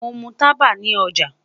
Mo mu taba ni oja